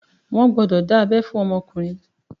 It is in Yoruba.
Wọn gbọ́dọ̀ dá abẹ́ fún ọmọkùnrin